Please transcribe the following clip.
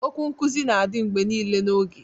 Okwu nkuzi na-adị mgbe niile n'oge